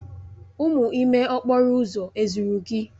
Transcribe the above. Umu ime okporo uzo ezuru gi?